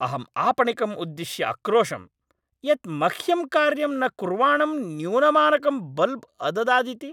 अहम् आपणिकम् उद्दिश्य अक्रोशं यत् मह्यं कार्यं न कुर्वाणं न्यूनमानकं बल्ब् अददादिति।